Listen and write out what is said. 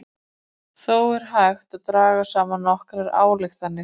Þó er hægt að draga saman nokkrar ályktanir.